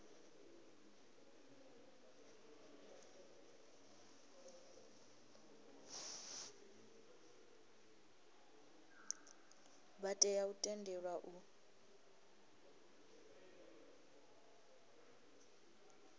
vha tea u tendelwa u